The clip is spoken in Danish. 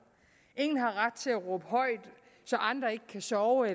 ingen har ret til at råbe højt så andre ikke kan sove